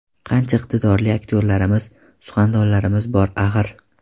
Qancha iqtidorli aktyorlarimiz, suxandonlarimiz bor, axir.